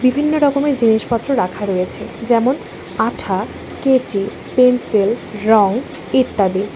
বিভিন্ন রকমের জিনিসপত্র রাখা রয়েছে যেমন আঠা কেচি পেন্সিল রং ইত্যাদি।